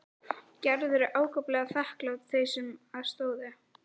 Gerður er ákaflega þakklát þeim sem að stóðu.